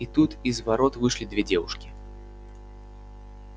и тут из ворот вышли две девушки